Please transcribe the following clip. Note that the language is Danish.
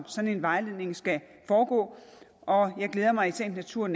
sådan en vejledning skal foregå og jeg glæder mig i sagens natur